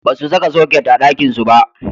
Basu saka soket a ɗakinsu ba.